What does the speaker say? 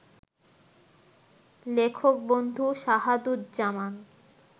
লেখক-বন্ধু Shahaduzzaman